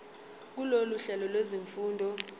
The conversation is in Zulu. kulolu hlelo lwezifundo